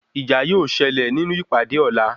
Ìjà yóó ṣẹlẹ̀ nínú ìpàdé ọ̀la.